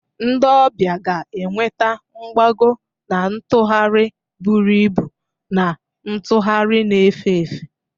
Ndị ọbịa ga-enweta mgbago na ntụgharị buru ibu na ntugharị na-efe efe.